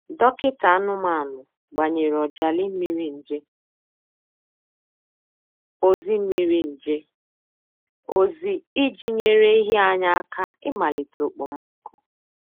Dọkịta anụmanụ gbanyere ọjalị mmiri nje ozi mmiri nje ozi iji nyere ehi anyị aka imalite okpomọkụ.